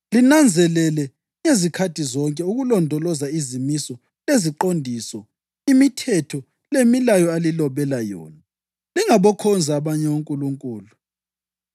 Linanzelele ngezikhathi zonke ukulondoloza izimiso, leziqondiso, imithetho lemilayo alilobela yona. Lingabokhonza abanye onkulunkulu.